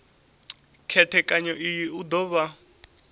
khethekanyo iyi u do vha